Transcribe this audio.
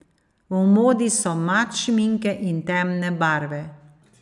V modi so mat šminke in temne barve.